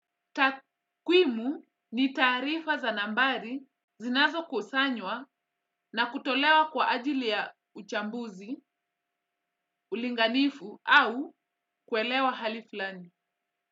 Takwimu ni tarifa za nambari zinazo kusanywa na kutolewa kwa ajili ya uchambuzi, ulinganifu au kuelewa hali fulani.